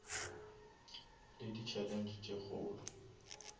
le di challenge tše kgolo